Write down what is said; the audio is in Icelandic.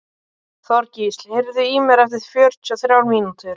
Þorgísl, heyrðu í mér eftir fjörutíu og þrjár mínútur.